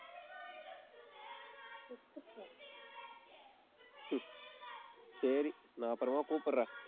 சரி, நான் அப்புறமா கூப்பிடுறேன்.